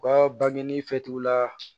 U ka bangeni fɛ t'u la